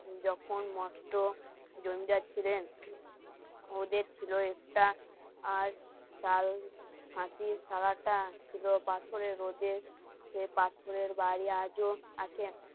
যখন মস্ত জমিদার ছিলেন ওদের ছিল একটা আর ডাল, খাঁটির সালাটা ছিল পাথরের রোদে সে পাথরের বাড়ি আজও আছে